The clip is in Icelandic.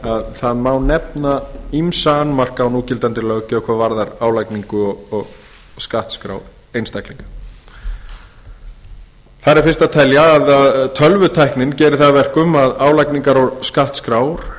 að það má nefna ýmsa annmarka á núgildandi löggjöf hvað varðar álagningar og skattskrár einstaklinga þar er fyrst að telja að tölvutæknin gerir það að verkum að álagningar og skattskrár